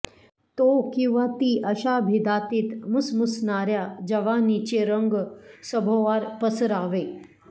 तो किंवा ती अशा भेदातीत मुसमुसणाऱ्या जवानीचे रंग सभोवार पसरावे